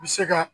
U bɛ se ka